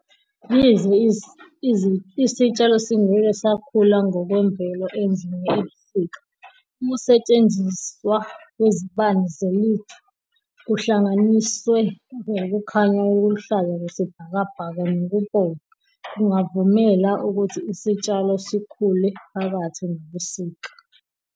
Yize isitshalo singeke sakhula ngokwemvelo endlini ebusika, ukusetshenziswa kwezibani ze-LED kuhlanganiswe ukukhanya okuluhlaza okwesibhakabhaka nokubomvu kungavumela ukuthi isitshalo sikhule phakathi nobusika.